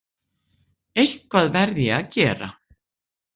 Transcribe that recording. Eitthvað verð ég að gera.